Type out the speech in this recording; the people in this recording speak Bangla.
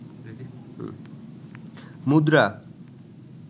মুদ্রা